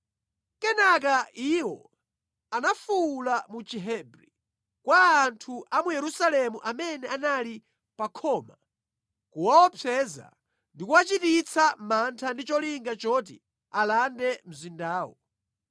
Kenaka iwo anafuwula mu Chihebri kwa anthu a mu Yerusalemu amene anali pa khoma, kuwaopseza ndi kuwachititsa mantha ndi cholinga choti alande mzindawo.